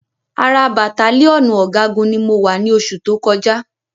Ara bàttálíọ̀nù ọ̀gágun ni mo wà ni oṣù tó kọjá